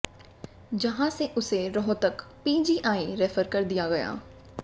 जहां से उसे रोहतक पीजीआई रेफर कर दिया गया